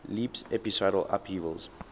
leaps episodal upheavals